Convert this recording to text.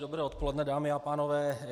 Dobré odpoledne, dámy a pánové.